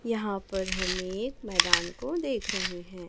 यहा पर हम एक मैदान को देख रहे हैं।